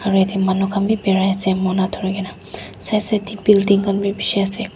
aru yate manu khan bi birai ase mona dhurikae na side side tae building khan bi bishi ase.